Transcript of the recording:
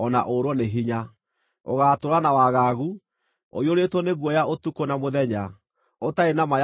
Ũgaatũũra na wagagu, ũiyũrĩtwo nĩ guoya ũtukũ na mũthenya, ũtarĩ na ma ya ũtũũro waku.